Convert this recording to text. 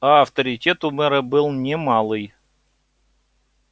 а авторитет у мэра был не малый